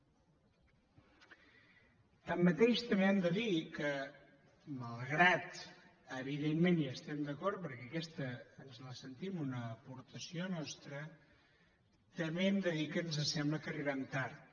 tanmateix també hem de dir que malgrat que evidentment hi estem d’acord perquè aquesta ens la sentim una aportació nostra també hem de dir que ens sembla que arribem tard